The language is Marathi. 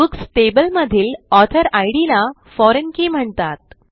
बुक्स टेबल मधील ऑथर इद ला फोरिग्न के म्हणतात